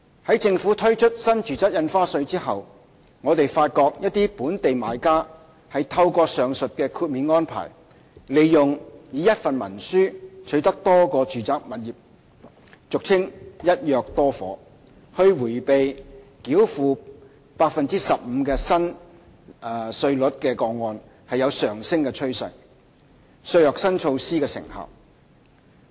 在政府推出新住宅印花稅後，我們發覺一些本地買家透過上述的豁免安排，利用一份文書取得多個住宅物業以迴避繳付 15% 新稅率的個案有上升的趨勢，削弱新措施的成效。